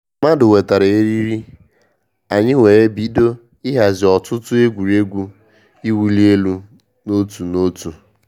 Mmadụ wetara eriri, anyị were bido ịhazi ọtụtụ egwuregwu iwu li elu na otu na otu